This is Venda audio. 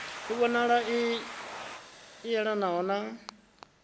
i vhonalaho i yelanaho na